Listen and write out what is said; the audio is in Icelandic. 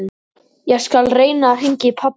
Ég skal reyna að hringja í pabba þinn.